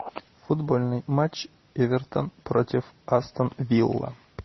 футбольный матч эвертон против астон вилла